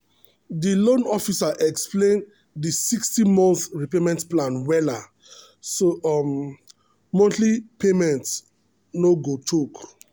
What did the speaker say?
the loan officer explain the 60-month repayment plan wella so um monthly payment no go choke.